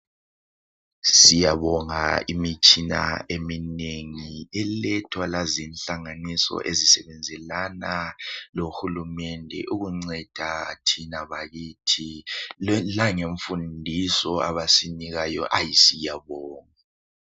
Siyabonga imitshina eminengi elethwa la zinhlanganiso ezisebenzelana loHulumende ukunceda thina bakithi langemfundiso abasinika yona ayi siyabonga